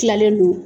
Tilalen don